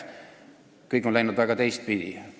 Kõik on läinud väga teistpidi.